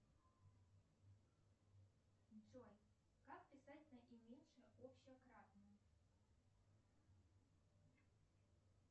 джой как писать наименьшее общее кратное